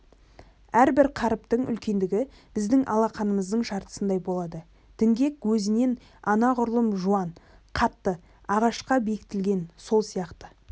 әрбір қаріптің үлкендігі біздің алақанымыздың жартысындай болады діңгек өзінен анағұрлым жуан қатты ағашқа бекітілген сол сияқты